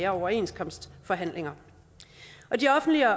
overenskomstforhandlinger de offentlige